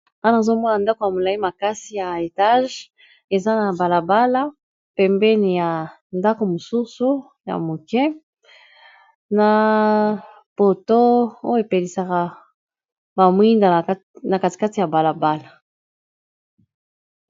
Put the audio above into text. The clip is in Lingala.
wana azomwona ndako ya molai makasi ya etage eza na balabala pembeni ya ndako mosusu ya moke na poto oyo epelisaka bamoinda na katikati ya balabala